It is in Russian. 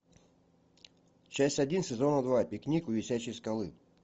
часть один сезона два пикник у висячей скалы